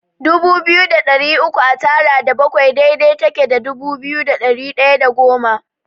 Dubu biyu da ɗari uku a tara da bakwai daidai take da dubu biyu da ɗari ɗaya da goma.